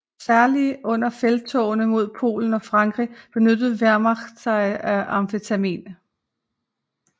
Særlig under felttogene mod Polen og Frankrig benyttede Wehrmacht sig af amfetamin